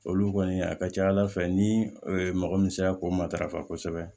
Olu kɔni a ka ca ala fɛ ni mɔgɔ min sera k'o matarafa kosɛbɛ